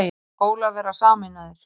Skólar verða sameinaðir